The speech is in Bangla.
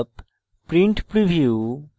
print preview